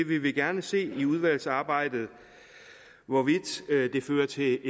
vi vil gerne se i udvalgsarbejdet hvorvidt det fører til